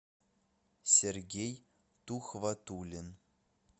сергей тухватуллин